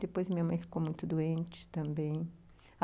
Depois minha mãe ficou muito doente também.